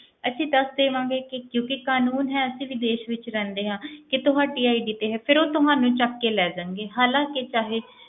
ਅਸੀਂ ਦੱਸ ਦੇਵਾਂਗੇ ਕਿ ਕਿਉਂਕਿ ਕਾਨੂੰਨ ਹੈ ਅਸੀਂ ਵੀ ਦੇਸ ਵਿੱਚ ਰਹਿੰਦੇ ਹਾਂ ਕਿ ਤੁਹਾਡੀ ID ਤੇ ਹੈ, ਫਿਰ ਉਹ ਤੁਹਾਨੂੰ ਚੁੱਕ ਕੇ ਲੈ ਜਾਣਗੇ, ਹਾਲਾਂਕਿ ਚਾਹੇ